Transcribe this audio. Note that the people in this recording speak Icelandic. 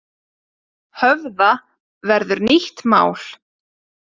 Höfða verður nýtt mál